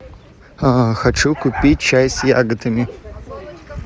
хочу купить чай с ягодами